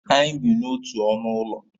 Anyị bi n'otu ọnụ ụlọ